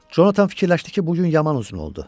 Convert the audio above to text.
Conatan fikirləşdi ki, bu gün yaman uzun oldu.